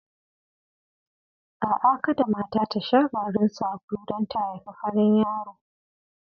A'a kada mata ta sha garin sabulu don ta haifi farin yaro.